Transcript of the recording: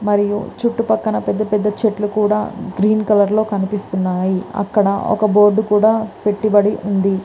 మరియు చుట్టుపక్కల పెద్ద పెద్ద చెట్లు కూడా గ్రీన్ కలర్ లో కనిపిస్తున్నాయి. అక్కడ ఒక బోర్డు కూడా పెట్టుబడి ఉంది.